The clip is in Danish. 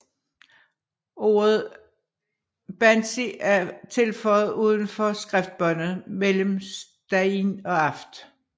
Ordet þansi er tilføjet uden for skriftbåndet mellem stain og aft